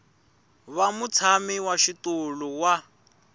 va mutshami wa xitulu wa